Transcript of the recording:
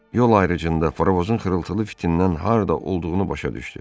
Yol ayrıcında frovozon xırıltılı fitindən harda olduğunu başa düşdü.